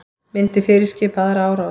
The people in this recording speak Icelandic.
Myndi fyrirskipa aðra árás